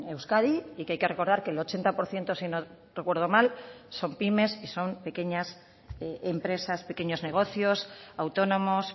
euskadi y que hay que recordar que el ochenta por ciento si no recuerdo mal son pymes y son pequeñas empresas pequeños negocios autónomos